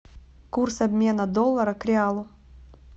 курс обмена доллара к реалу